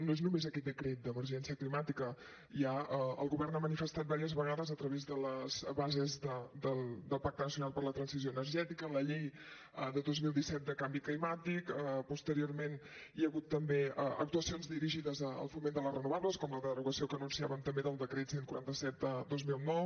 no és només aquest decret d’emergència climàtica ja el govern ho ha manifestat diverses vegades a través de les bases del pacte nacional per la transició energètica en la llei de dos mil disset de canvi climàtic posteriorment hi ha hagut també actuacions dirigides al foment de les renovables com la derogació que anunciàvem també del decret cent i quaranta set dos mil nou